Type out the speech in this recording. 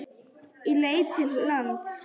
Ég leit til lands.